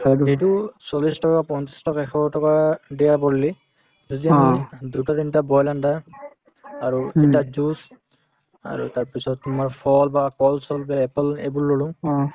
কাৰণ সেইটো চল্লিশ টকা পঞ্চাশ টকা এশ টকা পৰিলে যদি আমি দুটা তিনটা boil and আৰু এটা juice আৰু তাৰপিছত তোমাৰ ফল বা কল-চল বা apple এইবোৰ ললো